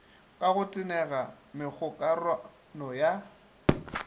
ka go tenega megokarano ya